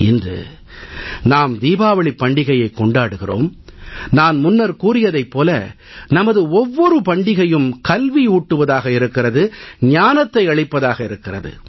இன்று நாம் தீபாவளிப் பண்டிகையைக் கொண்டாடுகிறோம் நான் முன்னர் கூறியதைப் போல நமது ஒவ்வொரு பண்டிகையும் கல்வியூட்டுவதாக இருக்கிறது ஞானத்தை அளிப்பதாக இருக்கிறது